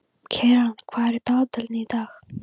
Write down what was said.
Keran, hvað er á dagatalinu í dag?